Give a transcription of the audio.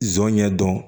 Zɔnɲɛ dɔn